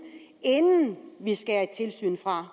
inden vi skærer et tilsyn fra